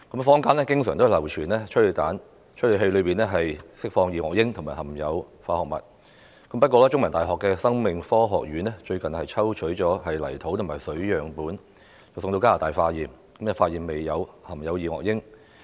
坊間經常流傳催淚彈會釋放二噁英和含有化學物，不過，香港中文大學生命科學學院最近曾抽取泥土和水樣本送往加拿大化驗，發現未有含有二噁英。